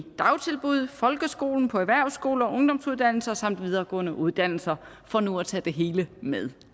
dagtilbud folkeskole på erhvervsskoler ungdomsuddannelser samt videregående uddannelser for nu at tage det hele med